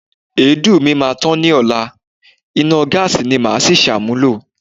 Èédú mi máa tán ni ọla, iná gáàsí ni màá si ṣàmúlò.